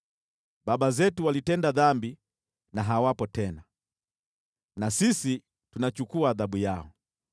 Baba zetu walitenda dhambi na hawapo tena, na sisi tunachukua adhabu yao.